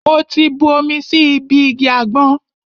Mo ti bu omi sí ibi igi àgbọn.